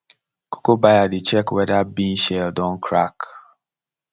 cocoa buyer dey check whether bean shell don crack